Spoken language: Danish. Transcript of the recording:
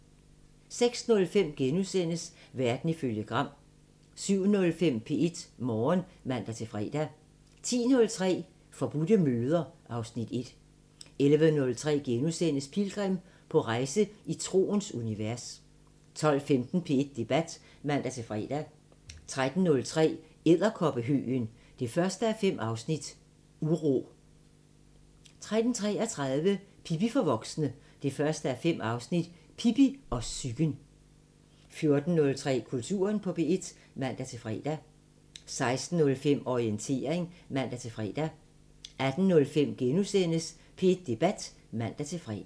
06:05: Verden ifølge Gram * 07:05: P1 Morgen (man-fre) 10:03: Forbudte møder (Afs. 1) 11:03: Pilgrim – på rejse i troens univers * 12:15: P1 Debat (man-fre) 13:03: Edderkoppehøgen 1:5 – Uro 13:33: Pippi for voksne 1:5 – Pippi og psyken 14:03: Kulturen på P1 (man-fre) 16:05: Orientering (man-fre) 18:05: P1 Debat *(man-fre)